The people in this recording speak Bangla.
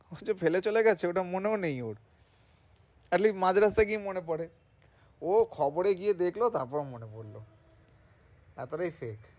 ওটা যে ফেলে চলে গেছে ওটা মনেও নেই ওর তাহলেই মাঝ রাস্তায় গিয়ে মনে পরে ও খবর এ গিয়ে দেখলো তারপরে মনে পড়ল এতো টাই শেষ,